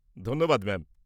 -ধন্যবাদ ম্যাম।